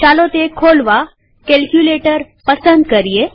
ચાલો તે ખોલવા કેલ્કયુલેટર પસંદ કરીએ